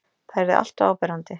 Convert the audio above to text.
Það yrði alltof áberandi.